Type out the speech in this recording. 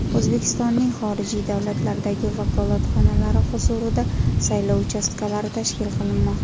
O‘zbekistonning xorijiy davlatlardagi vakolatxonalari huzurida saylov uchastkalari tashkil qilinmoqda.